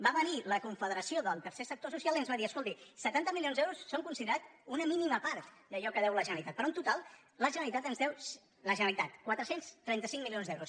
va venir la confederació del tercer sec·tor social i ens va dir escolti setanta milions d’euros són considerats una mínima part d’allò que deu la gene·ralitat però en total la generalitat ens deu quatre cents i trenta cinc mi·lions d’euros